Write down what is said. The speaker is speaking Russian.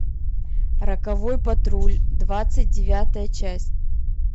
роковой патруль двадцать девятая часть